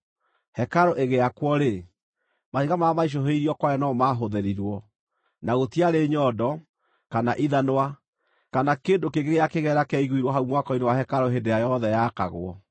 Hekarũ ĩgĩakwo-rĩ, mahiga marĩa maicũhĩirio kware no mo maahũthĩrirwo, na gũtiarĩ nyondo, kana ithanwa, kana kĩndũ kĩngĩ gĩa kĩgera kĩaiguirwo hau mwako-inĩ wa hekarũ hĩndĩ ĩrĩa yothe yaakagwo.